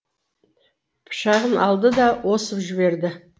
пышағын алды да осып жіберді